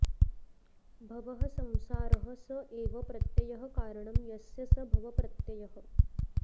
भवः संसारः स एव प्रत्ययः कारणं यस्य स भवप्रत्ययः